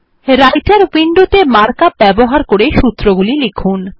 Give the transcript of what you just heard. রাইটের উইন্ডোত়ে markup ব্যবহার করে সূত্রগুলি লিখুন